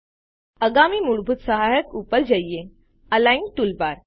ચાલો આગામી મૂળભૂત સહાયક ઉપર જઈએ અલિગ્ન ટૂલબાર